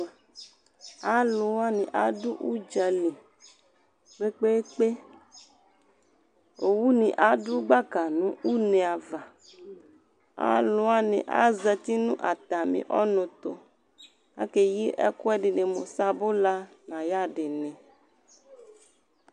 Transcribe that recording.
Alʋwani adʋ udzali kpekpe eekpe, owuni adʋ gbaka nʋ une ava, alʋwani azati nʋ atami ɔnʋ tʋ, akeyi akʋ ɛdini mʋ sabʋla n'ayadini